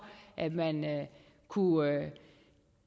at man kunne